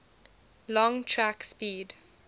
long track speed